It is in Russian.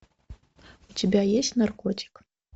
у тебя есть наркотик